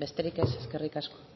besterik ez eskerrik asko